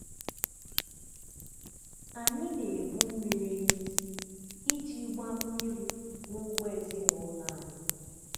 anyị na-ebu mmiri n'isi iji gbaa mmiri n'ugbo ezinụlọ anyị.